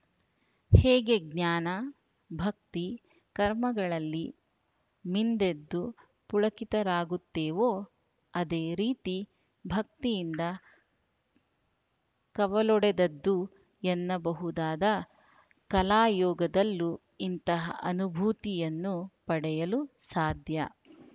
ಹೇಗೆ ಜ್ಞಾನ ಭಕ್ತಿ ಕರ್ಮಗಳಲ್ಲಿ ಮಿಂದೆದ್ದು ಪುಳಕಿತರಾಗುತ್ತೇವೋ ಅದೇ ರೀತಿ ಭಕ್ತಿಯಿಂದ ಕವಲೊಡೆದದ್ದು ಎನ್ನಬಹುದಾದ ಕಲಾಯೋಗದಲ್ಲೂ ಅಂತಹ ಅನುಭೂತಿಯನ್ನು ಪಡೆಯಲು ಸಾಧ್ಯ